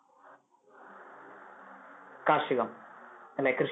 കാർഷികം അല്ലെ കൃഷി